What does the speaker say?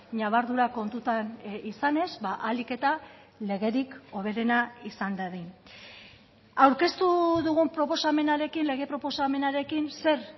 ñabardura kontutan izanez ahalik eta legerik hoberena izan dadin aurkeztu dugun proposamenarekin lege proposamenarekin zer